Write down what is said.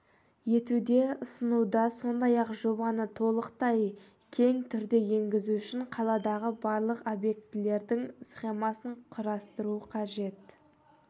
етуді ұсынуда сондай-ақ жобаны толықтай кең түрде енгізу үшін қаладағы барлық объектілердің схемасын құрастыру қажет